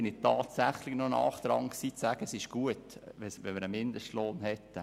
Damals war ich nahe daran, es gut zu finden, wenn wir einen Mindestlohn hätten.